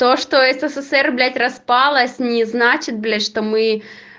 то что ссср блять распалось не значит блять что мы